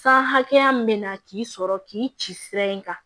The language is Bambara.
San hakɛya min bɛ na k'i sɔrɔ k'i ci sira in kan